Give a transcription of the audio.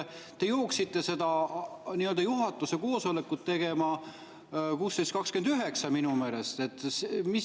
Te jooksite seda nii‑öelda juhatuse koosolekut tegema minu meelest 16.29.